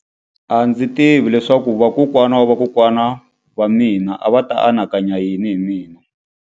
A ndzi tivi leswaku vakokwana-va-vakokwana va mina a va ta anakanya yini hi mina.